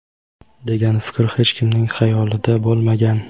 degan fikr hech kimning xayolida bo‘lmagan.